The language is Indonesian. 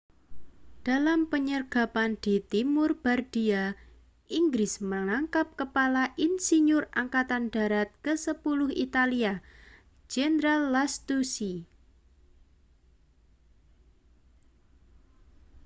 dalam penyergapan di timur bardia inggris menangkap kepala insinyur angkatan darat kesepuluh italia jenderal lastucci